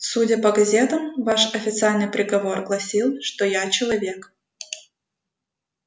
судя по газетам ваш официальный приговор гласил что я человек